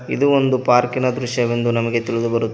ಇದು ಒಂದು ಪಾರ್ಕಿನ ದೃಶ್ಯವೆಂದು ನಮಗೆ ತಿಳಿದುಬರುತ--